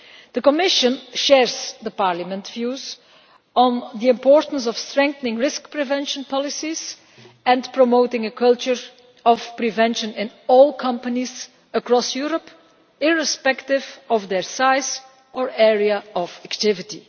The Commission shares Parliament's views on the importance of strengthening risk prevention policies and promoting a culture of prevention in all companies across Europe, irrespective of their size or area of activity.